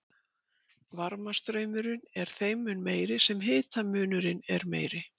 Varmastraumurinn er þeim mun meiri sem hitamunurinn er meiri.